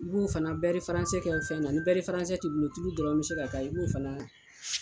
I b'o fana bɛri faransɛ fɛ na ni bɛri faransɛ tɛ i bolo tulu dɔrɔn bɛ se ka k'a ye i b'o fana